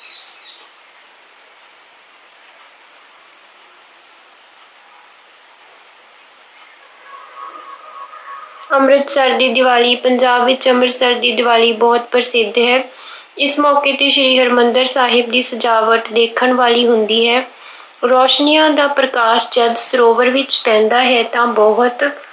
ਅੰਮ੍ਰਿਤਸਰ ਦੀ ਦੀਵਾਲੀ- ਪੰਜਾਬ ਵਿੱਚ ਅੰਮ੍ਰਿਤਸਰ ਦੀ ਦੀਵਾਲੀ ਬਹੁਤ ਪ੍ਰਸਿੱਧ ਹੈ। ਇਸ ਮੌਕੇ ਤੇ ਸ਼੍ਰੀ ਹਰਮੰਦਿਰ ਸਾਹਿਬ ਦੀ ਸਜਾਵਟ ਦੇਖਣ ਵਾਲੀ ਹੁੰਦੀ ਹੈ। ਰੌਸ਼ਨੀਆਂ ਦਾ ਪ੍ਰਕਾਸ਼ ਜਦ ਸਰੋਵਰ ਵਿੱਚ ਪੈਂਦਾ ਹੈ ਤਾਂ ਬਹੁਤ